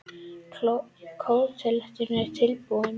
Kleópatra höggvin í basalt.